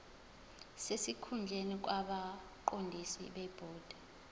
sesikhundleni kwabaqondisi bebhodi